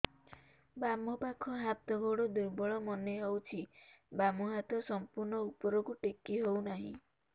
ବାମ ପାଖ ହାତ ଗୋଡ ଦୁର୍ବଳ ମନେ ହଉଛି ବାମ ହାତ ସମ୍ପୂର୍ଣ ଉପରକୁ ଟେକି ହଉ ନାହିଁ